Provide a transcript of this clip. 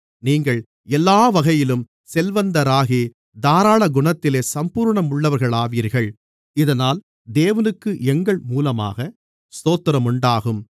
நீங்கள் எல்லா வகையிலும் செல்வந்தராகி தாராளகுணத்திலே சம்பூரணமுள்ளவர்களாவீர்கள் இதனால் தேவனுக்கு எங்கள் மூலமாக ஸ்தோத்திரமுண்டாகும்